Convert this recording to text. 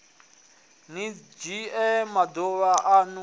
ni fhedze maduvha anu a